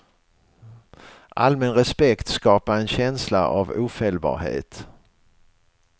Allmän respekt skapar en känsla av ofelbarhet.